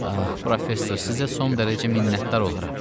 Professor, sizə son dərəcə minnətdar olaram.